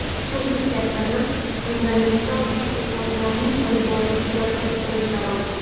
Xususiy sektorni fundamental tadqiqotlarning olib borilishiga qiziqtirish zarur.